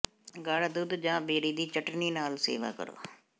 ਗਾੜਾ ਦੁੱਧ ਜ ਬੇਰੀ ਦੀ ਚਟਣੀ ਨਾਲ ਸੇਵਾ ਕਰੋ